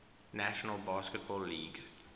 national basketball league